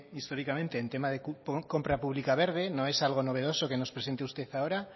históricamente en tema de compra pública verde no es algo novedoso que nos presente usted ahora